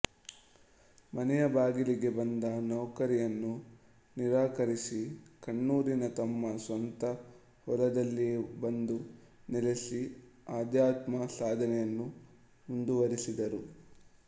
ಮನೆಯ ಬಾಗಿಲಿಗೆ ಬಂದ ನೌಕರಿಯನ್ನು ನಿರಾಕರಿಸಿ ಕನ್ನೂರಿನ ತಮ್ಮ ಸ್ವಂತ ಹೊಲದಲ್ಲಿಯೇ ಬಂದು ನೆಲೆಸಿ ಆಧ್ಯಾತ್ಮ ಸಾಧನೆಯನ್ನು ಮುಂದುವರಿಸಿದರು